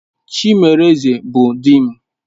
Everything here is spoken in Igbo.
Chimereze bụ di m.